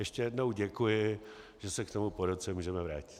Ještě jednou děkuji, že se k tomu po roce můžeme vrátit.